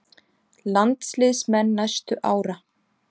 Landsliðsmenn næstu ára?